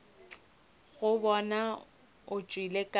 go bona o tšwele ka